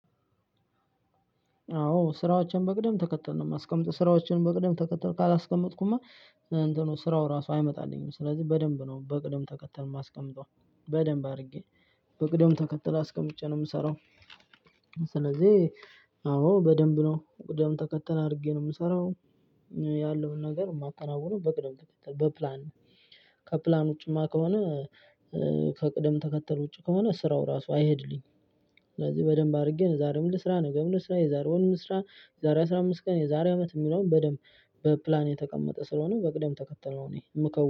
አዎ ስራዎችን በቅደም ተከተል ነው የማስቀምጠው ስራዎችን በቅደም ተከተል ካላስቀመጥኩማ እንትኑ ስራው ራሱ አይመጣልኝም ስለዚህ በደንብ ነው በቅደም ተከተል ማስቀመጠው በደንብ አድርጌ በቅደም ተከተል አስቀምጬ ነው የምሰራው። ስለዚህ አዎ በደንብ ነው በቅደም ተከተል አድርጌ ነው የምሰራው። ያለውን ነገር የማከናውነው በቅደም ተከተል በፕላን ነው። ከፕላን ውጪማ ከሆነ ከቅደም ተከተል ውጪ ከሆነ ስራው ራሱ አይሄድልኝም። ስለዚህ በደንብ አድርጌ ዛሬው ምን ልስራ ነገ ምን ልስራ ልስራ የዛሬ ወር ምን ልስራ የዛሬ አስራ አምስት ቀን የዛሬ አመት የሚለውን በደንብ በፕላን የተቀመጠ ስለሆነ በቅደም ተከተል እኔ የምከውነው